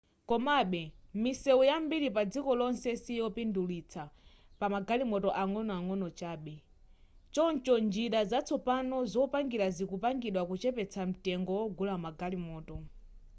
komabe misewu yambiri padziko lonse siyopindulitsa pamagalimoto ang'ono chabe choncho njira zatsopano zopangira zikupangidwa kuchepetsa mtengo wogulira magalimoto